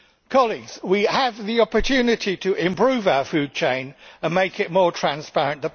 Colleagues, we have the opportunity to improve our food chain and make it more transparent.